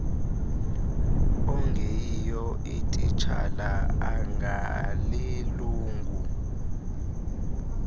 ongeyiyo ititshala angalilungu